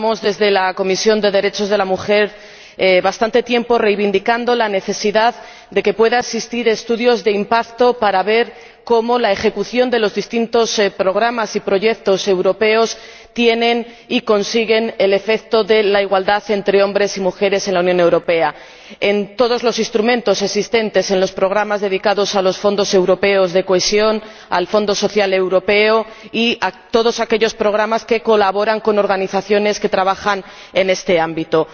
Desde la Comisión de Derechos de la Mujer llevamos bastante tiempo reivindicando la necesidad de que existan estudios de impacto para ver cómo la ejecución de los distintos programas y proyectos europeos tiene por efecto y consigue la igualdad entre hombres y mujeres en la Unión Europea, y ello en todos los instrumentos existentes en los programas dedicados a los Fondos europeos de Cohesión, al Fondo Social Europeo y en todos aquellos programas que colaboran con organizaciones que trabajan en este ámbito.